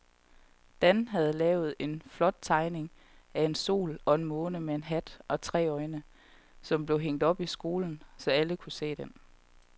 Dan havde lavet en flot tegning af en sol og en måne med hat og tre øjne, som blev hængt op i skolen, så alle kunne se den.